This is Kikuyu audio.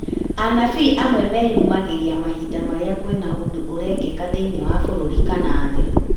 Anabii amwe meyumĩragia mahinda marĩa kwĩna ũndũ ũrekĩka thĩiniĩ wa bũrũrĩ kana thĩ